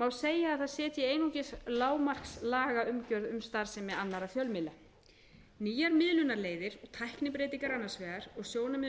má segja að það setji einungis lágmarkslagaumgjörð um starfsemi annarra fjölmiðla nýjar miðlunarleiðir tæknibreytingar annars vegar og sjónarmið um